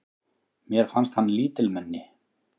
Mér fannst hann lítilmenni.